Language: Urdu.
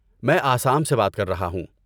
میں آسام سے بات کر رہا ہوں۔